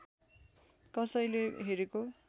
कसैले हेरेको